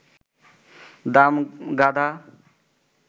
Damgara